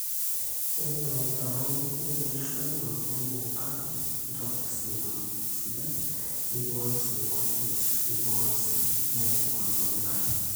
ore lelo mutaron nemeisho enkulukuoni eya enkare neitobir sii enkulukuoni sidai neibooyo sii inkujit nibooyo sii meya enkulukuoni enkare